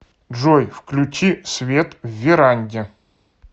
джой включи свет в веранде